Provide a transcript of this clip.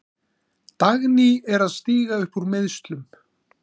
Dagný er að stíga upp úr meiðslum.